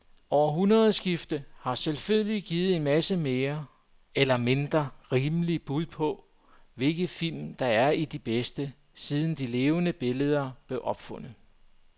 Årtusindskiftet har selvfølgelig givet en masse mere eller mindre rimelige bud på, hvilke film der er de bedste, siden de levende billeder blev opfundet.